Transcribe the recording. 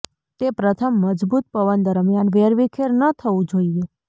તે પ્રથમ મજબૂત પવન દરમિયાન વેરવિખેર ન થવું જોઈએ